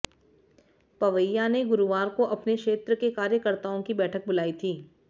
पवैया ने गुरुवार को अपने क्षेत्र के कार्यकर्ताओं की बैठक बुलाई थी